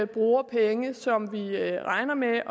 bruger penge som vi regner med at